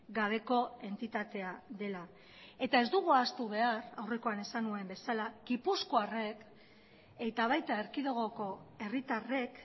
gabeko entitatea dela eta ez dugu ahaztu behar aurrekoan esan nuen bezala gipuzkoarrek eta baita erkidegoko herritarrek